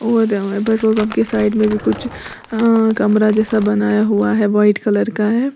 Petrol pump के side में भी कुछ अ कमरा जैसा बनाया हुआ है वाइट कलर का है।